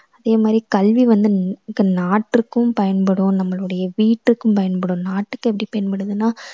அதே மாதிரி கல்வி வந்து இந்~நாட்டுக்கும் பயன்படும் நம்மளுடய வீட்டுக்கும் பயன்படும். நாட்டுக்கு எப்படி பயன்படுதுன்னா